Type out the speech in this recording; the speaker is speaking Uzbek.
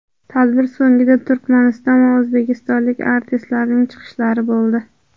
Tadbir so‘ngida Turkmaniston va o‘zbekistonlik artistlarning chiqishlari bo‘ldi.